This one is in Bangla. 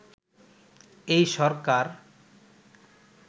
এই সরকার